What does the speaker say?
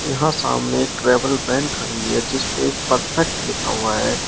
यहां सामने travel van खड़ी है जिस पे एक परफेक्ट लिखा हुआ है।